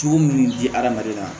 Jugu minnu di adamaden ma